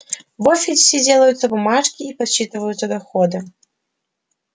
в офисе делаются бумажки и подсчитываются доходы